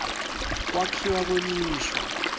kwakhiwa kwemisho